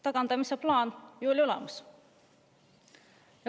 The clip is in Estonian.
Tagandamise plaan oli teil ju olemas.